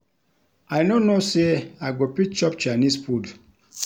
I no know say I go fit chop Chinese food.